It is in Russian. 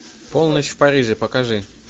полночь в париже покажи